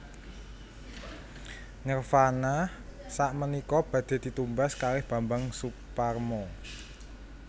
Nirvana sakmenika badhe ditumbas kalih Bambang Soeparmo